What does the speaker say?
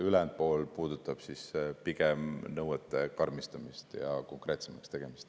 Ülejäänud pool puudutab pigem nõuete karmistamist ja konkreetsemaks tegemist.